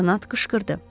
leytenant qışqırdı.